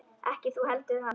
Ekki þú heldur hann.